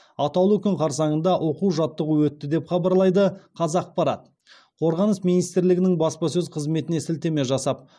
атаулы күн қарсаңында оқу жаттығу өтті деп хабарлайды қазақпарат қорғаныс министрлігінің баспасөз қызметіне сілтеме жасап